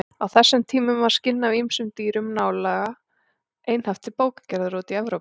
Á þessum tímum var skinn af ýmsum dýrum nálega einhaft til bókagerðar úti í Evrópu.